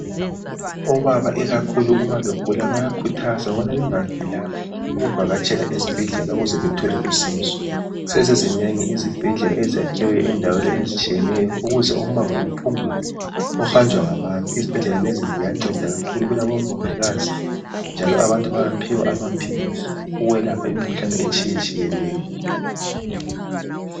Obaba ikakhulu uma begula bayakhuthazwa ukuthi bangavilaphi ukuvakatshela ezibhedlela, ukuze bathole usizo. Sezizinengi izibhedlela ezakhiwe endaweni ezitshiyeneyo, ukuze umango uphungulwe, ohanjwa ngabantu. Izibhedlela lezi, ziyanceda kakhulu. Kulabomongikazi, njalo abantu bayaphiwa amaphilisi ukwelapha imikhuhlane etshiyetshiyeneyo.